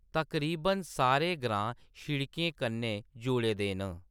तकरीबन सारे ग्रांऽ सड़कें कन्नै जुड़े दे न।